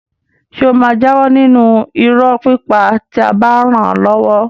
Ṣé ó máa jáwọ́ nínú irọ́ pípa tí a bá ràn án lọ́wọ́?